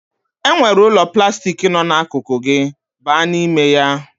E nwere ụlọ plastik nọ akụkụ gị, baa n'ime ya